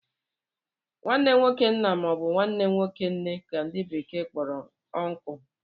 nwanne nwoke nna ma ọ bụ nwanne nwoke nne ka ndi bekee kporo ùnkulu